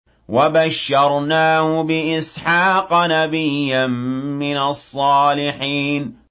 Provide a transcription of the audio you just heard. وَبَشَّرْنَاهُ بِإِسْحَاقَ نَبِيًّا مِّنَ الصَّالِحِينَ